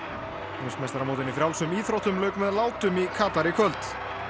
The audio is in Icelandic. heimsmeistaramótinu í frjálsum íþróttum lauk með látum í Katar í kvöld